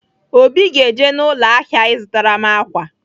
Obi ga-eje n'ụlọ ahịa ịzụtara m ákwà.